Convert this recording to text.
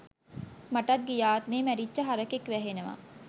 මටත් ගිය ආත්මේ මැරිච්ච හරකෙක් වැහෙනවා.